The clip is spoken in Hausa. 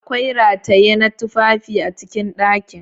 Akwai rataye na tufafi a cikin dakin.